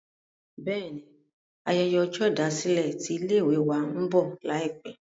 bẹ́ẹ̀ni, ayẹyẹ ọjọ́ ìdásílẹ̀ tí ilé ìwé wa ń bọ̀ láìpẹ̀